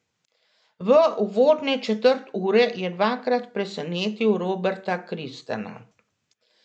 V uvodne četrt ure je dvakrat presenetil Roberta Kristana.